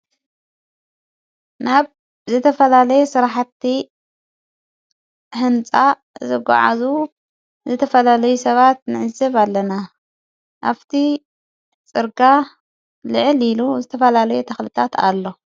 ናብ ዝተፈላለየ ሥራሕቲ ሕንፃ ዘጐዓዙ ዝተፈላለይ ሰባት ንዕዝብ ኣለና ኣፍቲ ጽርጋ ልዕል ኢሉ ዝተፈላለይ ተኽልታት ኣሎ፡፡